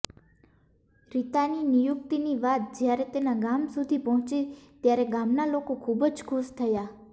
રીતાની નિયુક્તિની વાત જ્યારે તેના ગામ સુધી પહોંચી ત્યારે ગામના લોકો ખુબ જ ખુશ થયા